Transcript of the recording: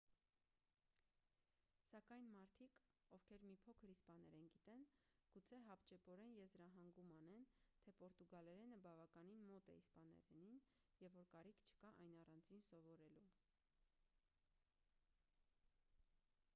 սակայն մարդիկ ովքեր մի փոքր իսպաներեն գիտեն գուցե հապճեպորեն եզրահանգում անեն թե պորտուգալերենը բավականին մոտ է իսպաներենին և որ կարիք չկա այն առանձին սովորելու